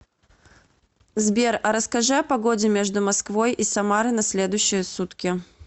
сбер а расскажи о погоде между москвой и самары на следующие сутки